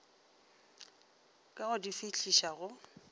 ka go di fihliša go